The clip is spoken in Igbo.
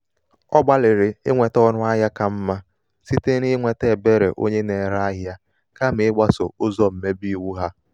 ọ gbalị̀rị̀ inwetē ọnụahịā ka mmā site n’inwete um èberè onye na-ere ahịa kàmà i̩gbasò um ụzọ̀ mmebe iwu um ha.